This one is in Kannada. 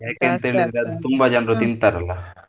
ತುಂಬಾ ಜನ್ರು ತಿಂತಾರಲ್ಲ.